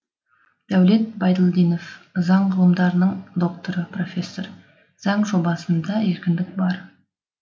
дәулет байділдинов заң ғылымдарының докторы профессор заң жобасында еркіндік бар